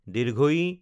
ঈ